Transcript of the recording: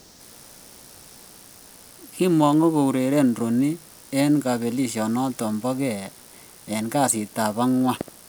Kimongu koureren Rooney en kabelishonoton bo gee en kasitab angwan.